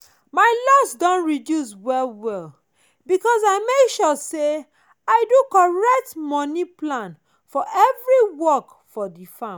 my loss don reduce well well because i make sure say i do correct moni plan for every work for the farm.